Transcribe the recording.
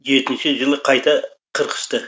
жетінші жылы қайта қырқысты